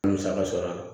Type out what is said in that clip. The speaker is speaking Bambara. N ye musaka sɔrɔ a la